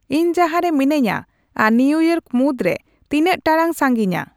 ᱤᱧ ᱡᱟᱦᱟᱨᱮ ᱢᱮᱱᱟᱧᱟ ᱟᱨ ᱱᱤᱭᱤᱭᱳᱠ ᱢᱩᱫᱨᱮ ᱛᱤᱱᱟᱹᱜ ᱴᱟᱲᱟᱝ ᱥᱟᱹᱜᱤᱧᱟ